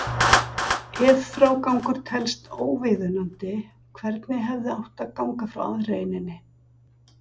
Ef frágangur telst óviðunandi, hvernig hefði átt að ganga frá aðreininni?